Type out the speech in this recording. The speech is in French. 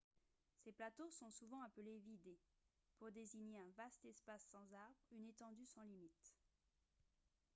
ces plateaux sont souvent appelés « vidde » pour désigner un vaste espace sans arbre une étendue sans limites